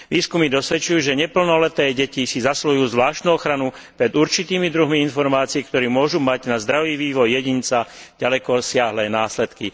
Výskumy dosvedčujú, že neplnoleté deti si zasluhujú zvláštnu ochranu pred určitými druhmi informácií, ktoré môžu mať na zdravý vývoj jedinca ďalekosiahle následky.